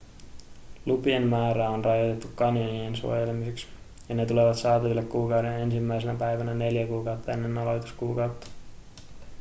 lupien määrää on rajoitettu kanjonin suojelemiseksi ja ne tulevat saataville kuukauden ensimmäisenä päivänä neljä kuukautta ennen aloituskuukautta